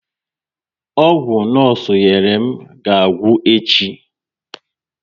Ọgwụ nosu nyerem ga agwụ echi